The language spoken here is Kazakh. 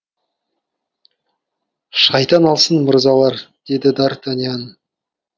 шайтан алсын мырзалар деді д артаньян